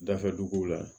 Dafɛ duguw la